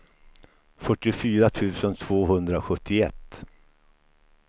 fyrtiofyra tusen tvåhundrasjuttioett